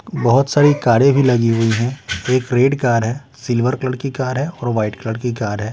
बहुत सारी कारें भी लगी हुई हैं एक रेड कार है सिल्वर कलर की कार है और वाइट कलर की कार है।